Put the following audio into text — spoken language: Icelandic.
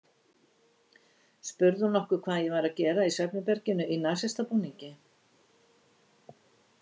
Spurði hún nokkuð hvað ég væri að gera í svefnherberginu í nasistabúningi?